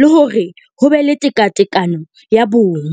le hore ho be le tekatekano ya bong.